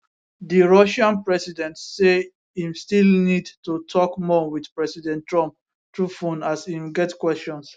di russian president say im still need to tok more wit president trump through phone as im get questions